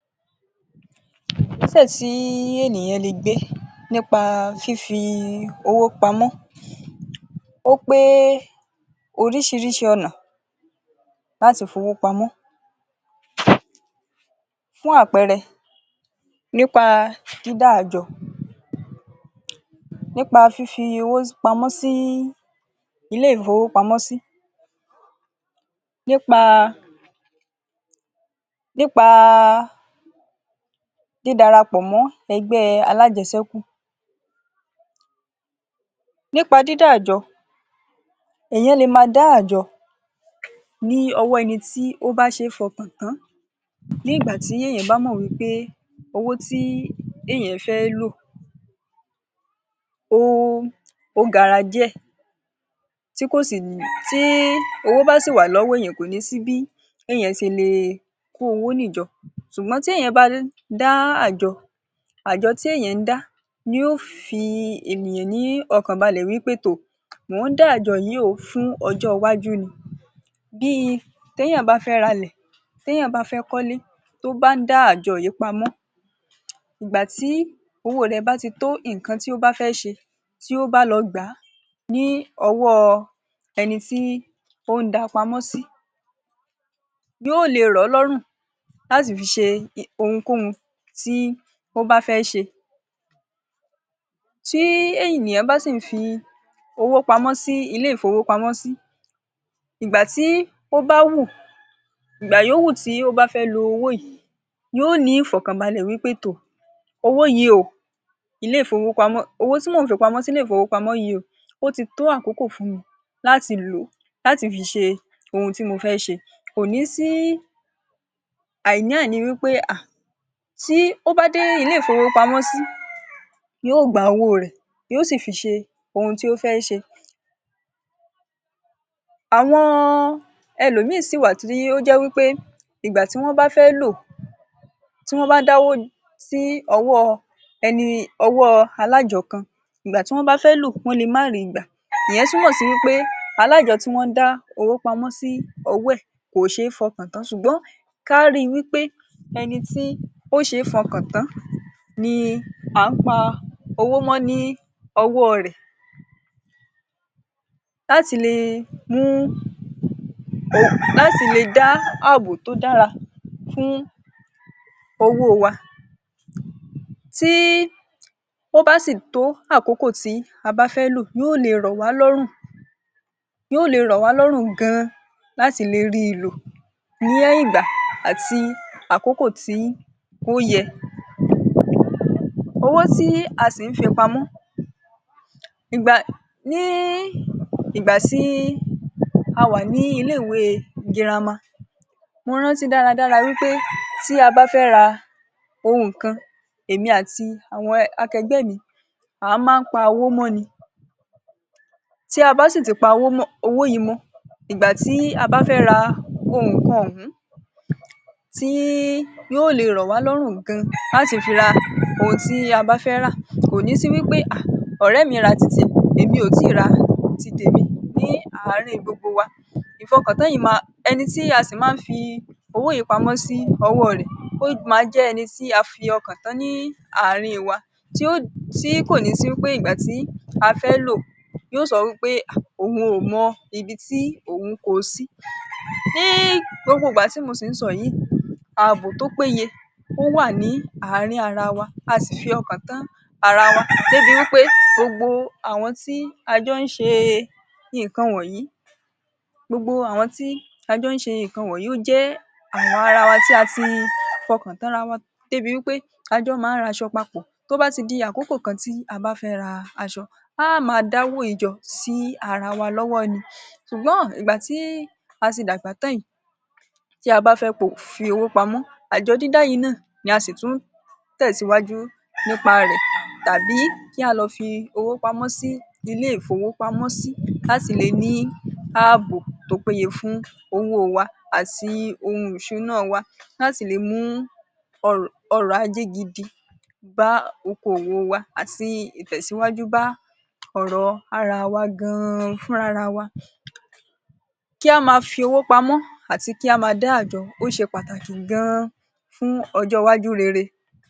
Ìgbésẹ̀ tí ènìyàn lè gbé nípa fífi owó pamọ́ ó pé oríṣiríṣi ọ̀nà láti fowó pamọ́. Fún àpẹẹrẹ nípa dídá àjọ, nípa fífi owó pamọ́ sí ilé ìfowópamọ́sí, nípa nípa dídára pọ̀ mọ́ ẹgbẹ́ alájẹ̀ẹ́ṣẹ́kù. Nípa dídá àjọ, èèyàn le ma dá àjọ ní ọwọ́ ẹni tí ó ṣe fọkàn tán nígbà tí èèyàn bá mọ̀ wí pé owó tí èèyàn fẹ́ lò ó ógara díẹ̀, tí kò sì tí owó bà sí wà lọ́wọ́ èèyàn kọ́ni sí bí èèyàn ṣe le kó owó ni jọ. Ṣùgbọ́n tí èèyàn bá dá àjọ, àjọ tí èèyàn ń dá ni ó fi ènìyàn ní ọkàn balẹ̀ wí pé tò mò ń dá àjọ yìí o fún ọjọ́ iwájú ni. Bíi téèyàn bá fẹ́ ralẹ̀, téèyàn bá fẹ́ kọ́lẹ́, tó bá ń dá àjọ yìí pamọ́, ǹ gbà tí owó rẹ̀ bá ti tó nǹkan tí ó bá fẹ́ ṣe, tí ó bá lọ gbà á ní ọwọ́ọ ẹni tí ó ń da pamọ́ sí, yóò lè ràn án lọ́rùn láti fi ṣe ohunkóhun tí ó bá fẹ́ ṣe. Tí ènìyàn bá sì ń fi owó pamọ́ sí ilé ìfowópamọ́sí, ìgbàtí ó bá wù ìgbà yóó wù tí ó bá fẹ́ lo owó yìí, yóò ní ìfọ̀kànbalẹ́ wí pé tò owó yìí o ilé ìfowópamọ́ owó tí mò ń fi pamọ́ sí ilé ìfowópamọ́ yìí o, ó ti tó àkókò fún mi láti lò ó láti fi ṣe ohun tí mo fẹ́ ṣe. Kò ní sí àìní-àní wí pé ha tí o bá dé ilé ìfowópamọ́sí yóò gba owó rẹ̀, yóò sì fi ṣe ohun tí ó fẹ́ ṣe. Àwọn ẹlòmíì ṣì wà tí ó jẹ́ wí pé ìgbà tí wọ́n bá fẹ́ lò tí wọ́n bá dáwó sí ọwọ́ọ ẹni alájọ kan, ǹ gbà tí wọ́n bá fẹ́ lò, wọ́n le má ri gbà. Ìyẹn túmọ̀ sí wí pé alájọ tí wọ́n ń dá owó pamọ́ sí ọwọ́ ẹ̀ kò ṣe fọkàn tán ṣùgbọ́n kárí wí pé ẹni tí ó ṣe fọkàn tán ni à ń pa owó mọ́ ní ọwọ́ọ rẹ̀ láti le mú láti le dá àbò tó dára fún owó wa. Tí ó bá sì tó àkókò tí a bá fẹ́ lò, yóò lè rọ̀wá lọ́run yóò lè rọ̀wá lọ́rùn gan-an láti le rí i lò ní ìgbà àti àkókò tí ó yẹ. Owó tí a sì ń fi pamọ́ ìgbà ní ìgbà tí a wà ní ilé-ìwé girama, mo rántí dáradára wí pé tí a bá fẹ́ ra ohùn kan, èmi àti àwọn akẹgbẹ́ mi, a máa pa owó mọ́ ni. Tí a bá sì ti pa owó mọ́ owó yìí mọ́, ìgbà tí a bá fẹ́ ra nǹkan òhun, tí yóò lè ràn wá lọrun gan-an láti fi ra ohun tí a bá fẹ́ rà. Kò ní sí wí pé ha ọ̀rẹ́ mi ra títí ẹ̀, èmi ò tí ra ti tèmi ní àárín gbogbo wa. Ìfọkàntán yìí ma ẹni tí a sì máa ń fi owó yìí pamọ́ sí ọwọ́ rẹ̀, ó máa jẹ́ ẹni tí a fi ọkàn tán ní àárín wa. Tí ó tí kò ní sí wí pé ìgbátí a fẹ́ lò yóò sọ wí pé ha òun ò mọ ibi tí òun ko sí. Ní gbogbo ìgbà tí mo sì ń sọ yìí, àbò tó péye ò wá ní àárín ara wa, a sì fi ọkàn tán ara wa débi wí pé gbogbo àwọn tí a jọ́ ń ṣe nǹkan wọ̀nyí gbogbo àwọn tí a jọ́ ń ṣe nǹkan wọ̀nyí, ó jẹ́ àwọn ara wa tí a ti fọkàn tán ra wa débi wí pé a jọ́ máa ń raṣọ papọ̀ tó bá ti di àkókò kan tí a bá fẹ́ ra aṣọ. A á máa dáwó yìí jọ sí ara wa lọ́wọ́ ni. Ṣùgbọ́n ìgbà tí a ti dàgbà tán yìí, tí a bá fẹ́ fi owó pamọ́ àjọ dídá yìí náà ni a sì tún ún tẹ̀síwájú nípa rẹ̀, tàbí kí á lọ fi owó pamọ́ sí ilé ìfowópamọ́sí ká sì lè ní àbò tó péye fún owó wa àti ohun ìṣúná wa. Láti lè mú ọrọ̀ ọrọ̀ ajé gidi bá okòwò wa àti ìtẹ̀síwájú bá ọrọ ara wa gan-an fún rara wa. Kí á ma fi owó pamọ́ àti kí á ma dá àjọ ó ṣe pàtàkì gan-an fún ọjọ́ iwájú rere.